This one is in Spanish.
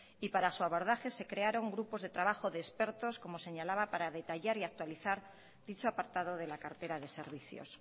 y para su abordaje se crearon grupos de trabajo de expertos como señalaba para detallar y actualizar dicho apartado de la cartera de servicios